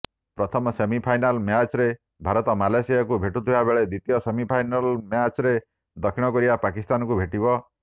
ପ୍ରଥମ ସେମିଫାଇନାଲ ମ୍ୟାଚରେ ଭାରତ ମାଲେସିଆକୁ ଭେଟୁଥିବାବେଳେ ଦ୍ୱିତୀୟ ସେମିଫାଇନାଲ ମ୍ୟାଚରେ ଦକ୍ଷିଣକୋରିଆ ପାକିସ୍ତାନକୁ ଭେଟିବ